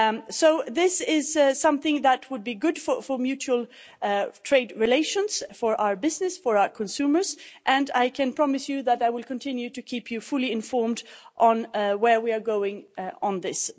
So this is something that would be good for mutual trade relations for our business and our consumers, and I can promise you that I will continue to keep you fully informed on where we are going on this.